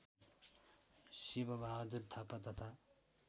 शिवबहादुर थापा तथा